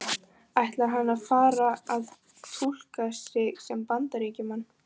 Ætlar hann að fara að túlka sig sem Bandaríkjamann?